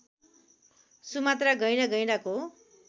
Sumatra गैंडा गैंडाको